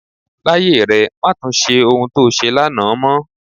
Láyé rẹ, má tun ṣe ohun to ṣe lánàá mọ.